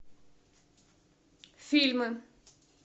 фильмы